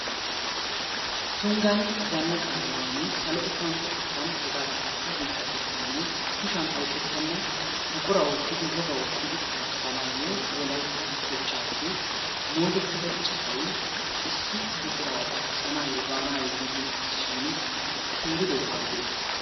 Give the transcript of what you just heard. Tunggan zannaqa biiruwan salo gupantto xekkan hegaadaanikka biitta xekkan kushiyan oyiqettenna buqura oottidi wogaa oottidi xaafissanaayyo wolayitta kochchaappe moodettida city issi buquraa xaafissanaayyo baanaayyo giigi uttisishiin keeridoy awudee?